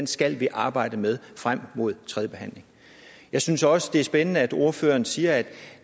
skal vi arbejde med frem mod tredje behandling jeg synes også det er spændende at ordføreren siger at